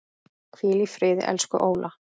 Hvíl í friði, elsku Óla.